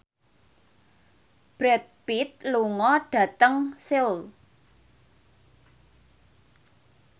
Brad Pitt lunga dhateng Seoul